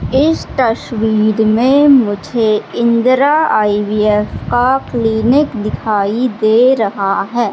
इस तस्वीर में मुझे इंदिरा आई_वी_एफ का क्लीनिक दिखाई दे रहा है।